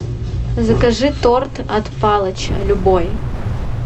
закажи торт от палыча любой